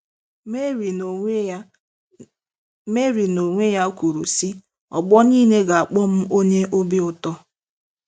Meri n'onwe ya Meri n'onwe ya kwuru, sị: “Ọgbọ niile ga-akpọ m onye obi ụtọ.